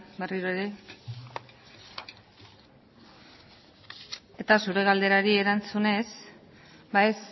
berriro ere eta zure galderari erantzunez ba ez